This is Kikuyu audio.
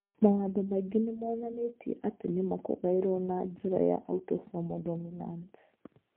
Mawatho maingĩ nĩ monanĩtio atĩ nĩ ma kũgaĩrũo na njĩra ya autosomal dominant.